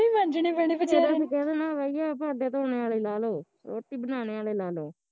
ਫੇਰ ਅਸੀਂ ਕਹਿ ਦੇਣਾ ਬਾਈਆ ਭਾਂਡੇ ਧੋਣੇ ਆਲੇ ਲਾਲੋ, ਰੋਟੀ ਬਣਾਣੇ ਆਲੇ ਲਾਲੋ